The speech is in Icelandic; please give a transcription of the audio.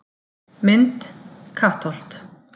Mynd: Kattholt